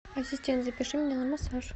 ассистент запиши меня на массаж